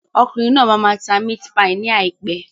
Okùnrin náà máa máa ta mit-pai ní àìpé.